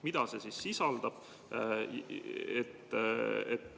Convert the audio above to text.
Mida see sisaldab?